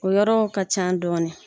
O yɔrɔ ka ca dɔɔnin